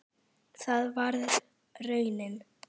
Það varð raunin.